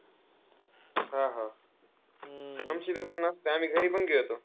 हा, हा. आमची जेव्हा नसते, आम्ही घरीपण खेळतो.